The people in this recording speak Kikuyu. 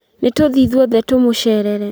Nĩ tũthiĩ ithuothe tũmũcerere